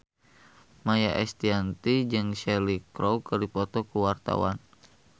Maia Estianty jeung Cheryl Crow keur dipoto ku wartawan